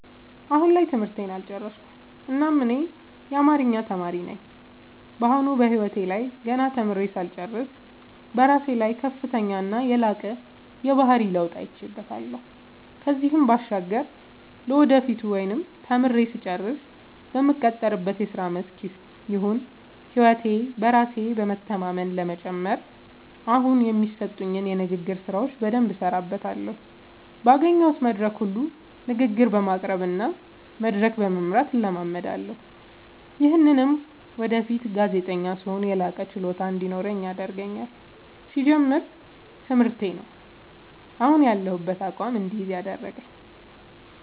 አሁን ላይ ትምህርቴን አልጨረስኩም እናም እኔ አማሪኛ ተማሪ ነኝ በአሁኑ በህይወቴ ላይ ገና ተምሬ ሳልጨርስ በራሴ ላይ ከፍተኛና የላቀ የባህሪ ለውጥ አይቼበታለው ከዚህም ባሻገር ለወደፊቱ ወይም ተምሬ ስጨርስ በምቀጠርበት የስራ መስክ ይሁን ህይወቴ በራስ በመተማመን ለመጨመር አሁኒ የሚሰጡኝን የንግግር ስራዎች በደምብ እሠራበታለሁ ባገኘሁት መድረክ ሁሉ ንግግር በማቅረብ እና መድረክ በመምራት እለማመዳለሁ። ይምህም ወደፊት ጋዜጠኛ ስሆን የላቀ ችሎታ እንዲኖረኝ ያደርገኛል። ሲጀመር ትምህርቴ ነው። አሁን ያሁበትን አቋም እድይዝ ያደረገኝ።